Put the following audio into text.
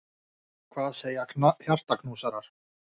Hvað segja hjartaknúsarar!